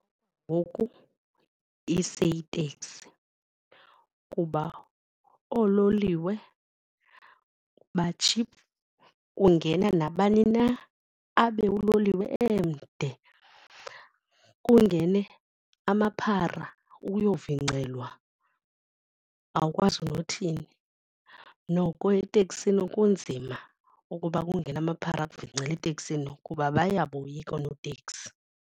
Ngoku iseyiteksi kuba oololiwe batshiphu kungena nabani na, abe uloliwe emde. Kungene amaphara ukuyovingcelwa, awukwazi nothini. Noko eteksini kunzima ukuba kungene amaphara akuvincele eteksini kuba bayaboyika oonoteksi.